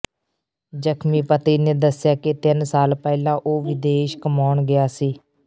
ਜਖਮੀ ਪਤੀ ਨੇ ਦੱਸਿਆ ਕਿ ਤਿੰਨ ਸਾਲ ਪਹਿਲਾਂ ਉਹ ਵਿਦੇਸ਼ ਕਮਾਉਣ ਗਿਆ ਸੀ